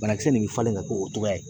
Banakisɛ nin bɛ falen ka k'o cogoya ye